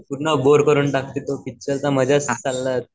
पूर्ण बोर करून टाकते तो पिक्चर चा मजाच हाकलला जाते.